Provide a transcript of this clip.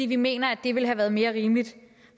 vi mener at det ville have været mere rimeligt